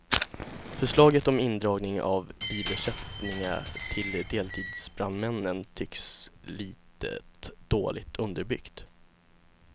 Förslaget om indragning av bilersättningar till deltidsbrandmännen tycks litet dåligt underbyggt.